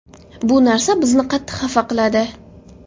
Bu narsa bizni qattiq xafa qiladi.